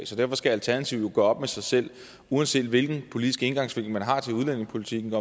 derfor skal alternativet jo gøre op med sig selv uanset hvilken politisk indgangsvinkel man har til udlændingepolitikken